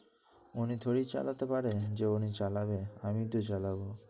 ওনি থয়ি চালাতে পারে, যে উনি চালাবে? আমিই তো চালাবো।